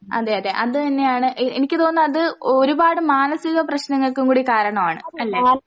അതെയതെ അത് തന്നെയാണ് എഹ് എനിക്ക് തോന്നുന്ന അത് ഒരുപാട് മാനസികപ്രശ്നങ്ങൾക്കും കൂടി കാരണവാണ് അല്ലെ?